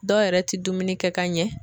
Dɔw yɛrɛ ti dumuni kɛ ka ɲɛ.